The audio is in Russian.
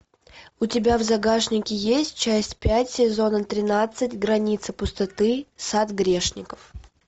у тебя в загашнике есть часть пять сезона тринадцать граница пустоты сад грешников